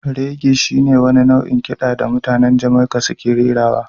Reggae shi ne wani nau'in kiɗa da mutanen Jamaica suke rerawa